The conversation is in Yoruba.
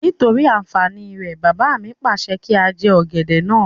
Nítorí àǹfàní rẹ̀, bàbá mi pàṣẹ kí á jẹ ọ̀gẹ̀dẹ̀ náà